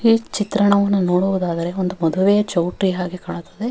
ಈ ಚಿತ್ರಣವನ್ನು ನೋಡುವುದಾದರೆ ಒಂದು ಮದುವೆಯ ಚೌಟರಿ ಹಾಗೆ ಕಾಣುತ್ತದೆ.